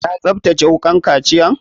Ya tsaftace wukan kaciyan?